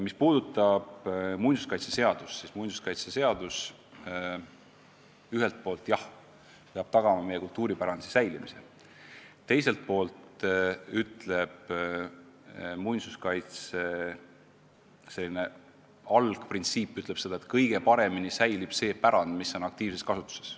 Mis puudutab muinsuskaitseseadust, siis see ühelt poolt jah peab tagama meie kultuuripärandi säilimise, teiselt poolt aga on muinsuskaitse algprintsiip selline, et kõige paremini säilib pärand, mis on aktiivses kasutuses.